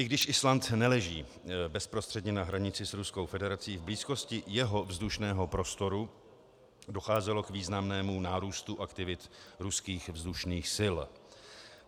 I když Island neleží bezprostředně na hranici s Ruskou federací, v blízkosti jeho vzdušného prostoru docházelo k výraznému nárůstu aktivit ruských vzdušných sil.